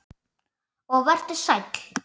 Og vertu sæll.